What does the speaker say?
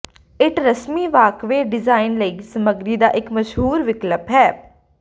ਇੱਟ ਰਸਮੀ walkway design ਲਈ ਸਮਗਰੀ ਦਾ ਇੱਕ ਮਸ਼ਹੂਰ ਵਿਕਲਪ ਹੈ